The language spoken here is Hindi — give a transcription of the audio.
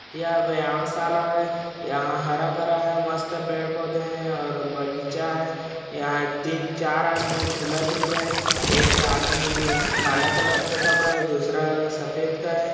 यह व्यायाम शाला है यहाँ हरा-भरा है मस्त पेड़-पौधे है और बगीचा है यहाँ तीन चार आदमी झूला झूल रहे है एक आदमी काला कलर का कपड़ा है दूसरा सफ़ेद का है।